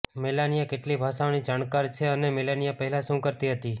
Melania કેટલી ભાષાઓની જાણકાર છે અને મેલાનિયા પહેલાં શું કરતી હતી